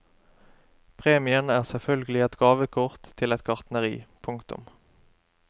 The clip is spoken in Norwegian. Premien er selvfølgelig et gavekort til et gartneri. punktum